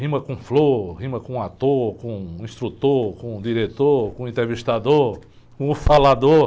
Rima com flor, rima com ator, com instrutor, com diretor, com entrevistador, com o falador.